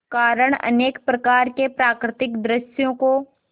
कारण अनेक प्रकार के प्राकृतिक दृश्यों को